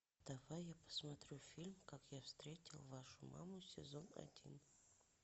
давай я посмотрю фильм как я встретил вашу маму сезон один